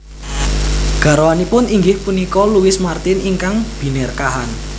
Garwanipun inggih punika Louis Martin ingkang Binerkahan